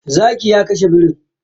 Zakin ya kashe birin.